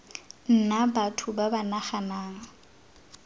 nna batho ba ba naganang